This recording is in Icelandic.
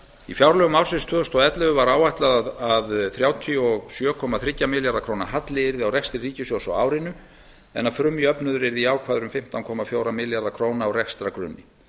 í fjárlögum ársins tvö þúsund og ellefu var áætlað að þrjátíu og sjö komma þrjá milljarða króna halli yrði á rekstri ríkissjóðs á árinu en að frumjöfnuður yrði jákvæður um fimmtán komma fjóra milljarða króna á rekstrargrunni